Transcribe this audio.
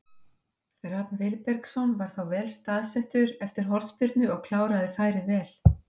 Rafn Vilbergsson var þá vel staðsettur eftir hornspyrnu og kláraði færið vel.